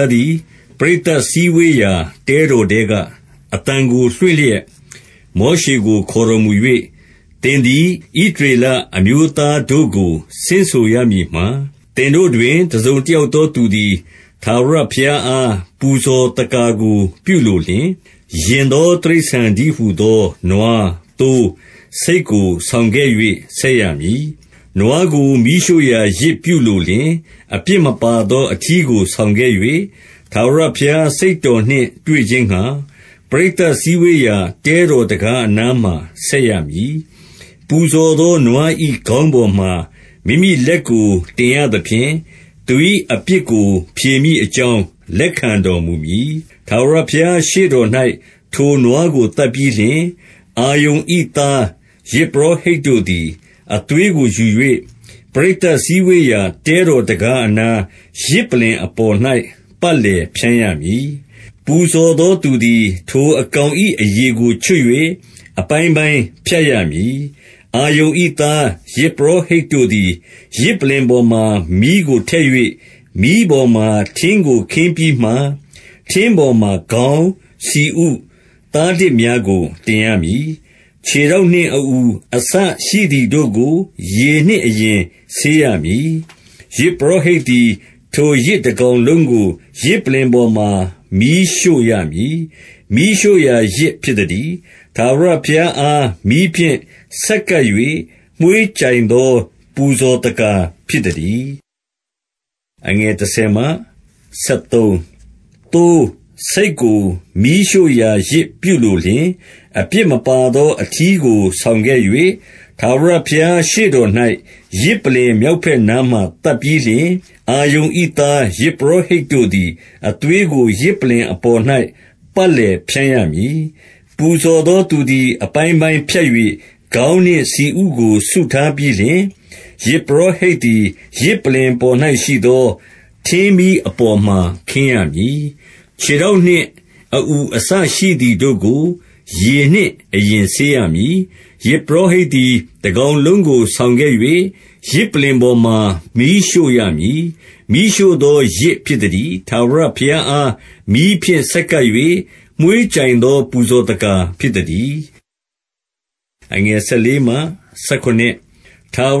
ားသည် ပရိသတ်စည်းဝေးရာ တဲတော်ထဲက အသံကို လွင်လျက် မောရှေကို ခေါ်တော်မူ၍၊ 2 သင်သည် ဣသရေလအမျိုးသားတို့ကို ဆင့်ဆိုရမည်မှာ၊ သင်တို့တွင် တစုံတယောက်သောသူသည် ထာဝရဘုရားအား ပူဇော်သက္ကာကို ပြုလိုလျှင်၊ ယဉ်သောတိရစ္ဆာန်တည်းဟူသော နွား၊ သိုး၊ ဆိတ်ကို ဆောင်ခဲ့၍ ဆက်ရမည်။ 3 နွားကို မီးရှို့ရာယဇ် ပြုလိုလျှင်၊ အပြစ်မပါသော အထီးကို ဆောင်ခဲ့၍၊ ထာဝရဘုရား စိတ်တော်နှင့် တွေ့ခြင်းငှါ၊ ပရိသတ်စည်းဝေးရာ တဲတော် တံခါးအနားမှာ ဆက်ရမည်။ 4 ပူဇော်သော နွား၏ခေါင်းပေါ်မှာ မိမိလက်ကို တင်ရသဖြင့်၊ သူ၏အပြစ်ကို ဖြေမည်အကြောင်း လက်ခံတော်မူမည်။ 5 ထာဝရဘုရားရှေ့တော်၌ ထိုနွားကို သတ်ပြီးလျှင်၊ အာရုန်၏သားယဇ်ပုရောဟိတ်တို့သည် အသွေး ကိုယူ၍၊ ပရိသတ်စည်းဝေးရာ တဲတော်တံခါးအနားယဇ်ပလ္လင် အပေါ်၌ ပတ်လည်ဖြန်းရမည်။ 6 ပူဇော်သောသူသည် ထိုအကောင်၏ အရေကို ချွတ်၍ အပိုင်းပိုင်း ဖြတ်ရမည်။ 7 အာရုန်၏သား၊ ယဇ်ပုရောဟိတ်တို့သည်၊ ယဇ်ပလ္လင်ပေါ်မှာ မီးကိုထည့်၍ မီးပေါ်မှာ ထင်းကိုခင်းပြီးမှ၊ 8 ထင်းပေါ်မှာ ခေါင်း၊ ဆီဥ၊ သားတများကို တင်ရမည်။ 9 ခြေထောက်နှင့် အအူအစရှိသည်တို့ကို ရေနှင့်အရင်ဆေးရမည်။ ယဇ်ပုရောဟိတ်သည်၊ ထိုယဇ်တ ကောင်လုံးကို ယဇ်ပလ္လင်ပေါ်မှာ မီးရှို့ရမည်။ မီးရှို့ရာယဇ် ဖြစ်သတည်း။ ထာဝရဘုရားအား မီးဖြင့် ဆက်ကပ်၍ မွှေးကြိုင်သော ပူဇော်သက္ကာ ဖြစ်သတည်း။ 10 သိုး၊ ဆိတ်ကို မီးရှို့ရာယဇ်ပြုလိုလျှင်၊ အပြစ်မပါသော အထီးကို ဆောင်ခဲ့၍၊ 11 ထာဝရဘုရားရှေ့တော်၌ ယဇ်ပလ္လင် မြောက်ဘက်နားမှာ သတ်ပြီးလျှင်၊ အာရုန်၏သား ယဇ်ပုရောဟိတ်တို့သည်၊ အသွေးကို ယဇ်ပလ္လင်အပေါ်၌ ပတ်လည်ဖြန်းရမည်။ 12 ပူဇော်သောသူသည် အပိုင်းပိုင်းဖြတ်၍ ခေါင်းနှင့်ဆီဥကို စုထားပြီးလျှင် ယဇ်ပုရောဟိတ်သည်၊ ယဇ်ပလ္လင်ပေါ်၌ ရှိသော ထင်းမီးအပေါ်မှာ ခင်းရမည်။ 13 ခြေထောက်နှင့် အအူအစရှိသည်တို့ကို ရေနှင့်အရင် ဆေးရမည်။ ယဇ်ပုရောဟိတ်သည် တကောင် လုံးကို ဆောင်ခဲ့၍၊ ယဇ်ပလ္လင်ပေါ်မှာ မီးရှို့ရမည်။ မီးရှို့သော ယဇ်ဖြစ်သတည်း။ ထာဝရဘုရားအား မီးဖြင့်ဆက်ကပ်၍ မွှေးကြိုင်သော ပူဇော်သက္ကာဖြစ်သတည်း။ 14 ထာဝ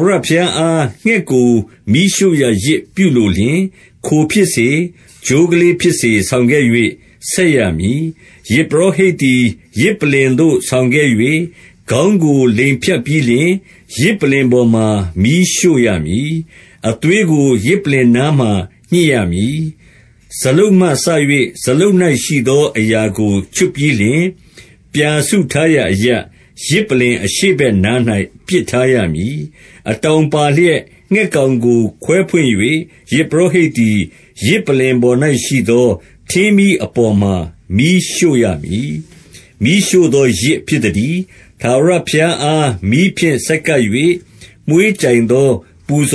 ရဘုရားအား ငှက်ကို မီးရှို့ရာယဇ်ပြုလိုလျှင်၊ ခိုဖြစ်စေ၊ ချိုးကလေးဖြစ်စေ ဆောင်ခဲ့၍ ဆက်ရမည်။ 15 ယဇ်ပုရောဟိတ်သည်၊ ယဇ်ပလ္လင်သို့ ဆောင်ခဲ့၍၊ ခေါင်းကို လိမ်ဖြတ်ပြီးလျှင် ယဇ်ပလ္လင်ပေါ်မှာ မီးရှို့ရမည်။ အသွေးကို ယဇ်ပလ္လင်နားမှာ ညှစ်ရမည်။ 16 စာလုတ်မှစ၍ စာလုတ်၌ ရှိသောအရာကို ချွတ်ပြီးလျှင်၊ ပြာစုထားရာအရပ်၊ ယဇ်ပလ္လင် အရှေ့ဘက်နား၌ ပစ်ထားရမည်။ 17 အတောင်ပါလျက် ငှက်ကောင်ကိုခွဲဖွင့်၍၊ ယဇ်ပုရောဟိတ်သည်၊ ယဇ်ပလ္လင်ပေါ်၌ရှိသော ထင်းမီး အပေါ်မှာ မီးရှို့ရမည်။ မီးရှို့သောယဇ် ဖြစ်သတည်း။ ထာဝရဘုရားအား မီးဖြင့် ဆက်ကပ်၍ မွှေးကြိုင်သော ပူဇ